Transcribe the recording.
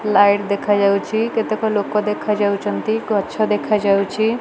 Light ଦେଖାଯାଉଛି। କେତେକ ଲୋକ ଦେଖାଯାଉଚନ୍ତି। ଗଛ ଦେଖାଯାଉଛି।